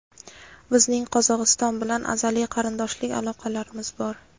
Bizning [Qozog‘iston bilan] azaliy qardoshlik aloqalarimiz bor.